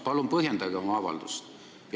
Palun põhjendage oma avaldust!